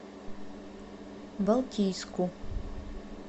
балтийску